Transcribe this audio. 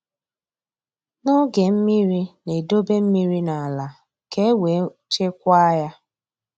N'oge mmiri na-edobe mmiri n’ala ka e wee chekwaa ya.